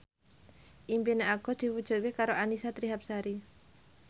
impine Agus diwujudke karo Annisa Trihapsari